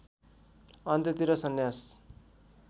अन्त्यतिर सन्यास